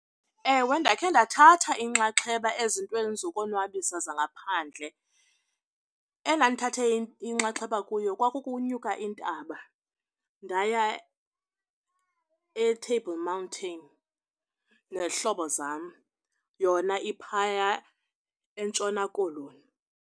Ewe, ndakhe ndathatha inxaxheba ezintweni zokonwabisa zangaphandle. Endandithathe inxaxheba kuyo kwakukunyuka intaba ndaya eTable Mountain nezihlobo zam. Yona iphaya eNtshona Koloni.